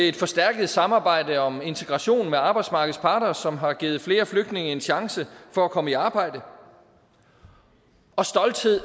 et forstærket samarbejde om integration med arbejdsmarkedets parter som har givet flere flygtninge en chance for at komme i arbejde og stolthed